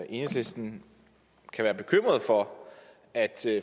enhedslisten kan være bekymret for at